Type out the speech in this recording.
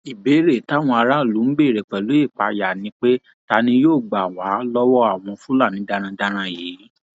ìbéèrè táwọn aráàlú ń béèrè pẹlú ìpáyà ni pé ta ni yóò gbà wá lọwọ àwọn fúlàní darandaran yìí